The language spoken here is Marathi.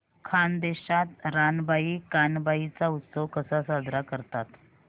खानदेशात रानबाई कानबाई चा उत्सव कसा साजरा करतात